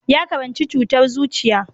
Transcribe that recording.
Ya karanci cutar zuciya.